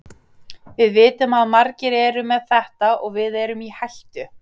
Við vitum að margir eru með þetta og við erum í hættu.